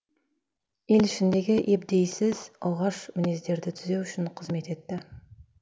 ел ішіндегі ебдейсіз оғаш мінездерді түзеу үшін қызмет етті